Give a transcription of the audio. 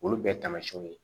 Olu bɛɛ taamasiyɛnw ye